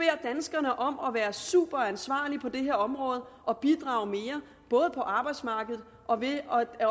danskerne om at være superansvarlige på det her område og bidrage mere både på arbejdsmarkedet og ved